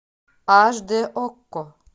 аш д окко